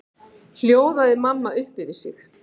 hljóðaði mamma upp yfir sig.